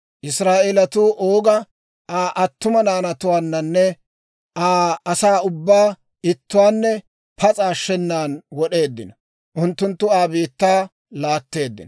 Israa'eelatuu Ooga, Aa attuma naanatuwaanne Aa asaa ubbaa ittuwaanne pas'a ashshenan wod'eeddino. Unttunttu Aa biittaa laatteeddino.